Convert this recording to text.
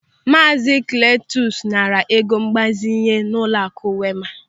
Maazi Kletus naara ego mgbazinye n'ụlọaku Wema.